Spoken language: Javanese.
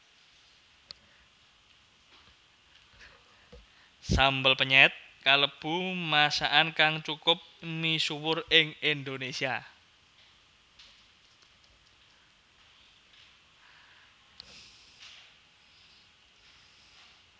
Sambel penyèt kalebu masakan kang cukup misuwur ing Indonésia